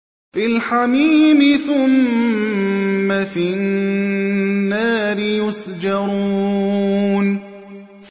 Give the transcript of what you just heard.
فِي الْحَمِيمِ ثُمَّ فِي النَّارِ يُسْجَرُونَ